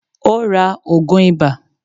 Ó ra ògùn ìbà.